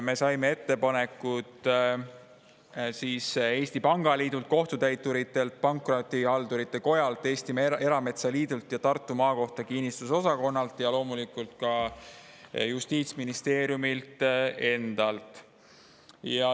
Me saime ettepanekud Eesti Pangaliidult, Kohtutäiturite ja Pankrotihaldurite Kojalt, Eesti Erametsaliidult ja Tartu Maakohtu kinnistusosakonnalt ning loomulikult ka Justiitsministeeriumilt endalt.